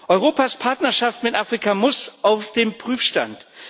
Europas Partnerschaft mit Afrika muss auf den Prüfstand.